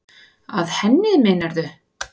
Að henni, meinarðu?